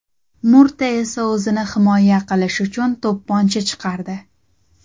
Murta esa o‘zini himoya qilish uchun to‘pponcha chiqardi.